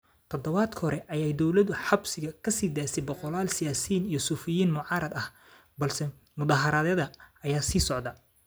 Todobaadkii hore ayay dawladdu xabsiga ka sii deysay boqollaal siyaasiyiin iyo suxufiyiin mucaarad ah, balse mudaaharaadyada ayaa sii socday.